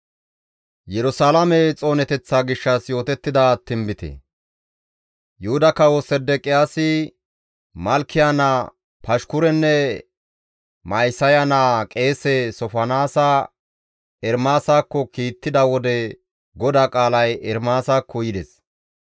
Yuhuda Kawo Sedeqiyaasi Malkiya naa Pashkurenne Ma7isaya naa qeese Sofonaasa Ermaasakko kiittida wode GODAA qaalay Ermaasakko yides.